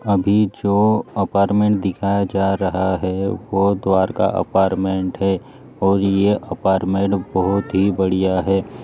अभी जो अपार्टमेंट दिखाए जा रहा है वो द्वारका अपार्टमेंट है और ये अपार्टमेंट बहुत ही बड़िया है।